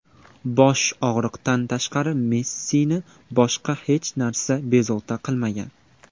Bosh og‘riqdan tashqari Messini boshqa hech narsa bezovta qilmagan.